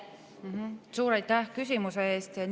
Suur aitäh küsimuse eest!